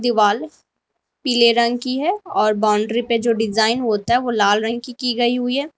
दीवाल पीले रंग की है और बाउंड्री पे जो डिजाइन होता है वो लाल रंग की की गई हुई है।